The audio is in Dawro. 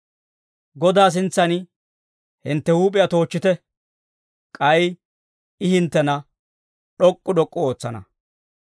Godaa sintsan hintte huup'iyaa toochchite; k'ay I hinttena d'ok'k'u d'ok'k'u ootsana.